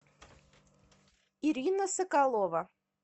ирина соколова